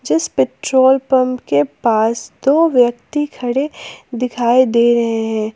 जिस petrol pump के पास दो व्यक्ति खड़े दिखाई दे रहे हैं।